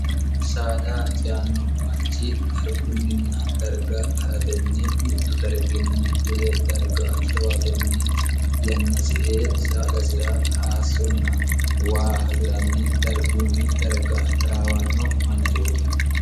saada ciyanno manchi dargunninna darga ha'ratenni mittu darginni wole darga dowatenni yannasi ee saadasira haassonna waa hasi'ranni dargunni darga tiraawanno manchihooti